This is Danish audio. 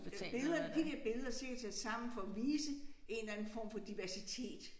Øh billederne de der billeder sikkert sat sammen for at vise en eller anden form for diversitet